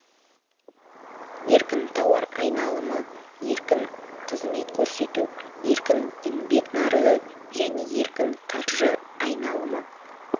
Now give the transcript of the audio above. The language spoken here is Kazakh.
еркін тауар айналымы еркін қызмет көрсету еркін еңбек нарығы және еркін қаржы айналымы